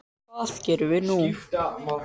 Hvað gerum við nú